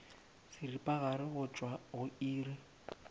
seripagare go tšwa go iri